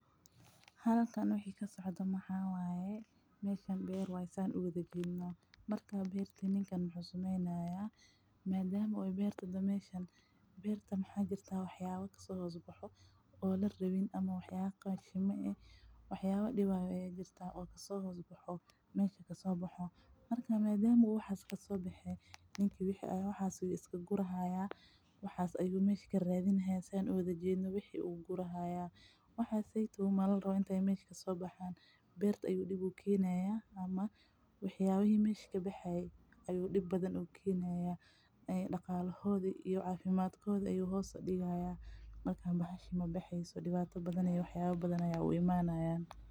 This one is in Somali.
Halkan wixii kasocda maxa waaye, meeshan beer wayee saan uwada jeedhno. Barta beerta ninkan muxu sameynaya, maadhama oo beerta meeshan maxa jirta waxba kasoo hosbaxo oo larabin ama waxyaba qashima ee, waxayaba diwaya aya jirta oo kasoo hosbaxo mesha kasoo baxo. Marka maadhama u waxas kasoo bexe, ninka waxas ayuu iskagurihaya, waxas ayuu mesha karadinihaya saan uwada jeedhno wixii ayuu guri hay. Waxaseeytow malarawo intaay mesha kasoo baxaan, beerta ayuu dib u keenaya ama wax yaabihi meesh kabaxayee ayuu dib badhan u keenaya ee daqalahoodhi iyo caafimadkodhi ayuu hoos udigayamarka bahasha mabexeeso, diwato badhan iyo waxyabo badhan aya u imanaya.